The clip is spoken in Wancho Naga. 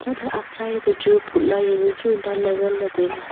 chatley atsai tochu putla janu chu danley.